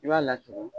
I b'a lasigi